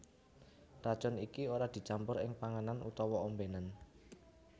Racun iki ora dicampur ing panganan utawa ombénan